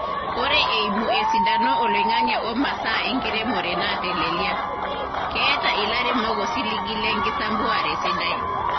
Ore eimu esidano oloing`ang`e o masaa enkiremore naateleliaa , keeta ilairemok osiligi le nkisampuare sidai.